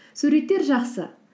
суреттер жақсы